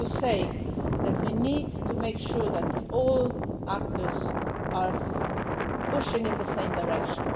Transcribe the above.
This is all to say that we need to make sure that all actors are pushing in the same direction.